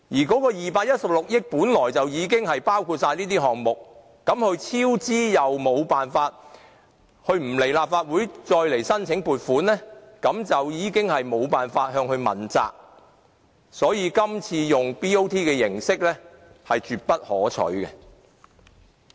該216億元本來已經包括所有項目，但西九文化區管理局超支，又不來立法會再申請撥款，大家便沒有辦法向它問責，所以今次以 BOT 形式是絕不可取的。